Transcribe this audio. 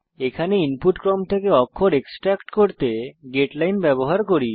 এখানে আমরা ইনপুট ক্রম থেকে অক্ষর এক্সট্রেক্ট করতে গেটলাইন ব্যবহার করি